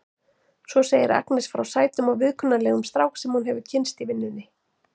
Svo segir Agnes frá sætum og viðkunnanlegum strák sem hún hefur kynnst í vinnunni.